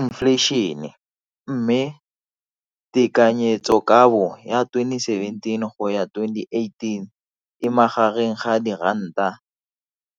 Infleišene, mme tekanyetsokabo ya 2017, 18, e magareng ga